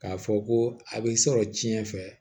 K'a fɔ ko a bɛ sɔrɔ tiɲɛn fɛ